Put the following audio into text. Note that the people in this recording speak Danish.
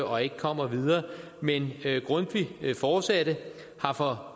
og ikke kommer videre men grundtvig fortsatte har for